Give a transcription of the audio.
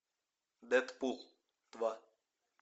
дэдпул два